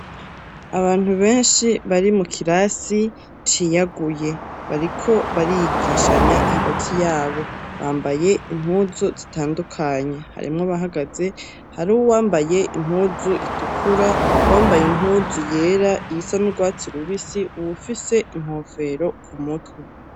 Abantu benshi bari mu kirasi ciyaguye bariko barigishanya hagati y'abo bambaye impuzu zitandukanye ,harimwo abahagaze hari huwambaye impuzu itukura, wambaye impuzu yera iyisa n'urwatsi rubisi uwufise inkofero ku mutwe.